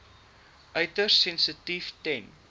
uiters sensitief ten